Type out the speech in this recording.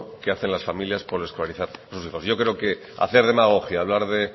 que hacen las familias por escolarizar a sus hijos yo creo que hacer demagogia hablar de